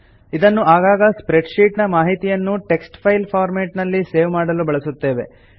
ಇದನ್ನು ಆಗಾಗ spreadsheet ನ ಮಾಹಿತಿಯನ್ನು ಟೆಕ್ಸ್ಟ್ ಫೈಲ್ ಫಾರ್ಮೆಟ್ ನಲ್ಲಿ ಸೇವ್ ಮಾಡಲು ಬಳಸುತ್ತೇವೆ